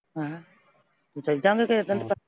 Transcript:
ਕਿਸੇ ਦਿਨ .